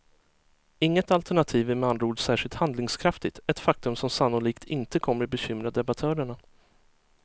Inget alternativ är med andra ord särskilt handlingskraftigt, ett faktum som sannolikt inte kommer bekymra debattörerna.